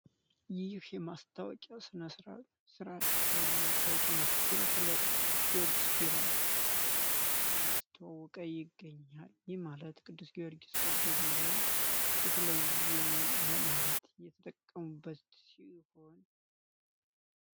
ይህ የማስታወቂያ ስነ-ስርአት ወይም የማስታወቂያ ምስል ስለ ቅዱስ-ጊዎርጊስ ቢራ እያስተዋወቀ ይገኛል። ይህ ማለት ቅዱስ ጊዎርጊስ ተወዳጅ ነው ወይም የተለየ ነው ለማለት የተጠቀሙበት ነው።